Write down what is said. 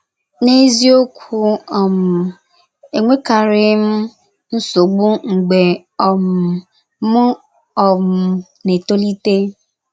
N’eziokwu um, enwekarịghị m nsogbu mgbe um m um na - etolite.